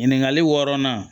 Ɲininkali wɔɔrɔnan